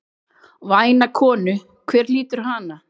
Væna konu, hver hlýtur hana?